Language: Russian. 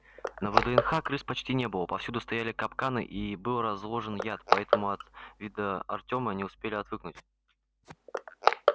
на вднх крыс почти не было повсюду стояли капканы и был разложен яд поэтому от вида артёма они успели отвыкнуть